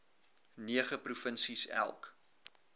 nege provinsies elk